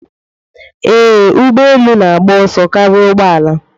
Ee, ụgbọ elu na-agba ọsọ karịa ụgbọ ala.